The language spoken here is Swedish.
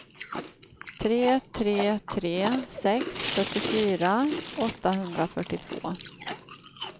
tre tre tre sex fyrtiofyra åttahundrafyrtiotvå